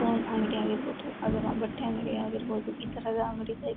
phone ಅಂಗಡಿ ಆಗಿರಬಹುದು ಅಥವಾ ಬಟ್ಟೆ ಅಂಗಡಿ ಆಗಿರಬಹುದು ಈ ತರದ ಅಂಗಡಿಗಳು ಈದ್--